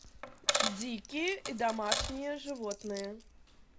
дикие и домашние животные